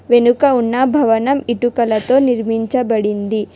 వెనుక ఉన్న భవనం ఇటుకలతో నిర్మించబడింది.